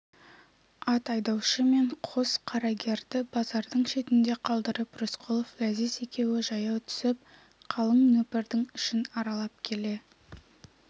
ат айдаушы мен қос қарагерді базардың шетінде қалдырып рысқұлов ләзиз екеуі жаяу түсіп қалың нөпірдің ішін аралап келе